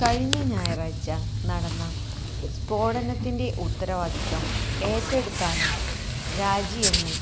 കഴിഞ്ഞ ഞായറാഴ്ച നടന്ന സ്ഫോടനത്തിന്റെ ഉത്തരവാദിത്തം ഏറ്റെടുത്താണ് രാജിയെന്ന്